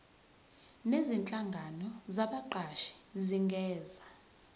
nezinhlangano zabaqashi zingenza